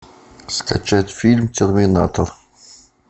скачать фильм терминатор